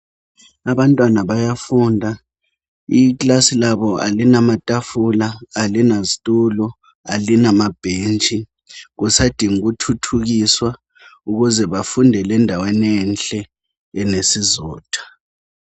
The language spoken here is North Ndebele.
Abantwana bayafunda ikilasi labo alina matafula ,alina zitulo ,alina mabhentshi kusadinga ukuthuthukiswa ukuze bafundele endaweni enhle enesizotha.